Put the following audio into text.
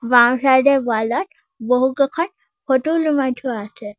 বাওঁ চাইড এ ৱাল ত বহুকেইখন ফটো ওলমাই থোৱা আছে।